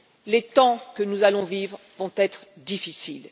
Les temps que nous allons vivre vont être difficiles.